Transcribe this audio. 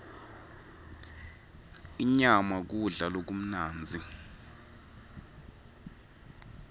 inyama kudla lokumnandzi